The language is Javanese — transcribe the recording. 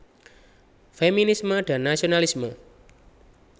Feminisme dan Nasionalisme